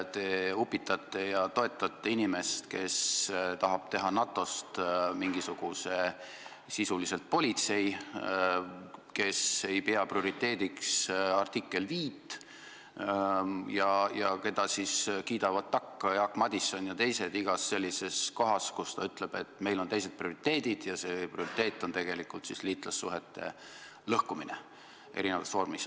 Te upitate ja toetate inimest, kes tahab teha NATO-st sisuliselt mingisuguse politsei, kes ei pea prioriteediks artiklit 5 ja kellele kiidavad takka Jaak Madison ja teised iga kord, kui ta ütleb, et meil on teised prioriteedid, ja tema prioriteet on tegelikult liitlassuhete lõhkumine eri vormis.